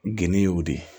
Geni ye o de ye